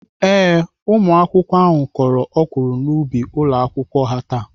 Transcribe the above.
Ee, ụmụakwụkwọ ahụ kọrọ ọkwụrụ n'ubi ụlọakwụkwọ ha taa.